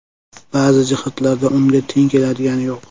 Ba’zi jihatlarda unga teng keladigani yo‘q.